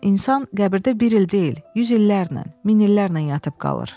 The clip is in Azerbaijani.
insan qəbirdə bir il deyil, yüz illərlə, min illərlə yatıb qalır.